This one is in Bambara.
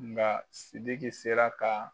Nka Sidiki sera ka